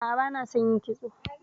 A'a, bana son yin kitso.